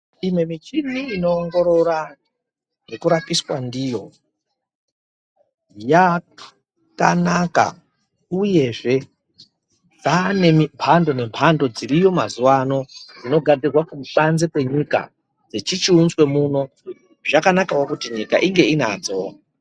Imwe michini inowongorora, yekurapiswa ndiyo, yakanaka uyezve yaanemiphando nephando dziriyo mazuvano dzinogadzirwa kubanze kwenyika, dzichichiunzwawo muno. Zvakanakawo kuti nyika inge inadzo.